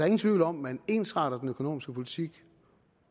ingen tvivl om at man ensretter den økonomiske politik